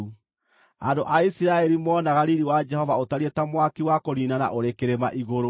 andũ a Isiraeli moonaga riiri wa Jehova ũtariĩ ta mwaki wa kũniinana ũrĩ kĩrĩma igũrũ.